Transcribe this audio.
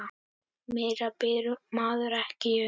Meira biður maður ekki um.